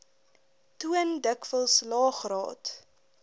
toon dikwels laegraad